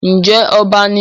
Ǹjẹ́ ọba ni?